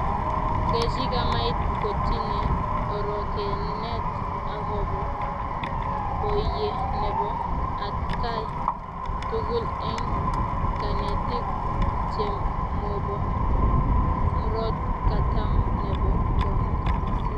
kechi chamait ketinye orokenet akobo borye nebo atkai tugul eng kanetik chemobo murot katam nebo kong asis